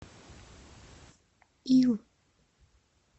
ю